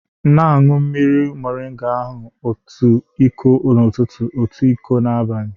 Na-anwụ mmiri moringa ahụ otu iko n'ụtụtụ, otu iko n'abalị